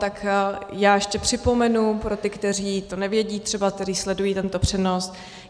Tak já ještě připomenu pro ty, kteří to nevědí třeba, kteří sledují tento přenos.